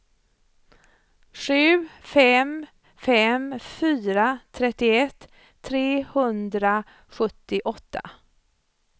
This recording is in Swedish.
sju fem fem fyra trettioett trehundrasjuttioåtta